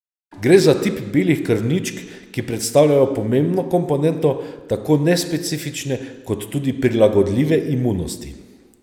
Gre za tip belih krvničk, ki predstavljajo pomembno komponento tako nespecifične kot tudi prilagodljive imunosti.